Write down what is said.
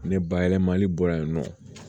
Ne bayɛlɛmali bɔra yen nɔ